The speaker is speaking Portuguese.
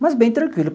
Mas bem tranquilo.